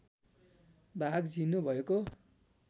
भाग झिनो भएको